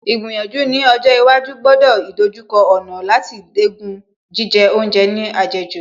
Ìgbìyànjú ní ọjọ́ iwájú gbọ́dọ̀ ìdojúkọ ọ̀nà láti dẹ́kun jíjẹ oúnjẹ ní àjẹjù